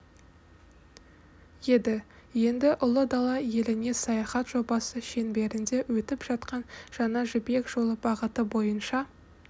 еді енді ұлы дала еліне саяхат жобасы шеңберінде өтіп жатқан жаңа жібек жолы бағыты бойынша